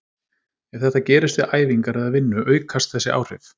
Ef þetta gerist við æfingar eða vinnu aukast þessi áhrif.